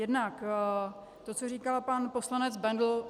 Jednak to, co říkal pan poslanec Bendl.